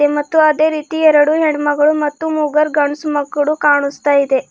ಮತ್ತು ಅದೇ ರೀತಿ ಎರಡು ಹೆಣ್ಣು ಮಗಳು ಮತ್ತು ಮೂಗರ್ ಗಂಡ್ಸು ಮಕ್ಕಳು ಕಾಣಿಸ್ತಾ ಇದೆ.